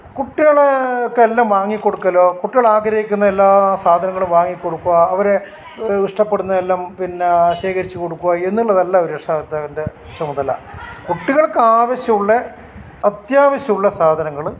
കുട്ടികൾക്ക് എല്ലാം വാങ്ങികൊടുക്കലോ കുട്ടികളെ ആഗ്രഹിക്കുന്ന എല്ലാ സാധനങ്ങളും വാങ്ങിക്കൊടുക്കുക അവരെ ഇഷ്ടപ്പെടുന്ന എല്ലാം ശേഖരിച്ച്‌ കൊടുക്കുക എന്നുള്ളതല്ല ഒരു രക്ഷാകർത്താവിൻ്റെ ചുമതല കുട്ടികളക്ക് ആവശ്യമുള്ള അത്യാവിശം ഉള്ള സാധനങ്ങൾ